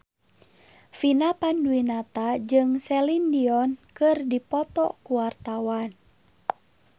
Vina Panduwinata jeung Celine Dion keur dipoto ku wartawan